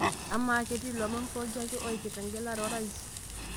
amaa ketii ilomon pooki ake oipirta engelare orais